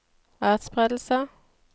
atspredelse